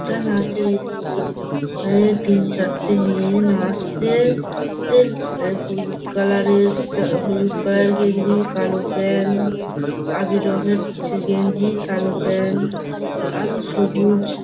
এটা নাচের ইস্কুল । এখানে তিন চারটি মেয়ে নাস্চে । এ এ হলুদ কালার -এর হলুদ কালার -এর গেঞ্জি কালো প্যান্ট আবির রঙের গেঞ্জি কালো প্যান্ট উ আরো সবুজ--